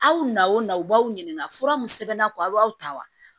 Aw na o na u b'aw ɲininka fura min sɛbɛnna ko a b'aw ta wa